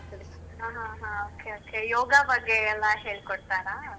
ಹಾ ಹಾ ಹಾ okay okay , ಯೋಗ ಬಗ್ಗೆ ಎಲ್ಲಾ ಹೇಳ್ಕೊಡ್ತಾರಾ?